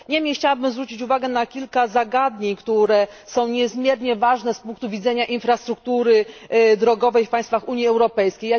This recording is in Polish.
Chciałabym zwrócić uwagę na kilka zagadnień, które są niezmiernie ważne z punktu widzenia infrastruktury drogowej w państwach Unii Europejskiej.